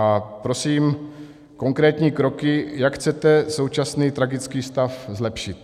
A prosím konkrétní kroky, jak chcete současný tragický stav zlepšit.